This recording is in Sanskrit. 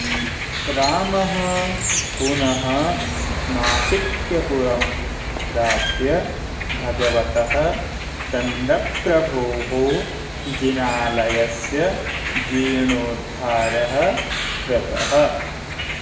रामः पुनः नासिक्यपुरं प्राप्य भगवतः चन्द्रप्रभोः जिनालयस्य जीर्णोद्धारः कृतः